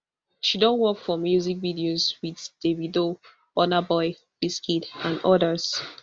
she don work for music videos wit davido burna boy wizkid and odas